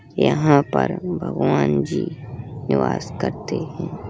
यहाँ पर भगवान जी निवास करते है।